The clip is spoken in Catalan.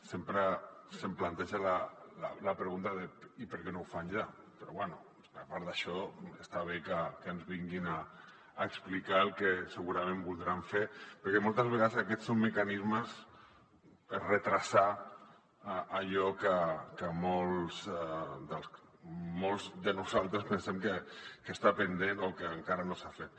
sempre se’m planteja la pregunta de i per què no ho fan ja però bé a part d’això està bé que ens vinguin a explicar el que segurament voldran fer perquè moltes vegades aquests són mecanismes per retardar allò que molts de nosaltres pensem que està pendent o que encara no s’ha fet